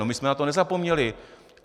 No, my jsme na to nezapomněli.